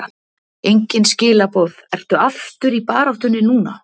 Engin skilaboð Ertu aftur í baráttunni núna?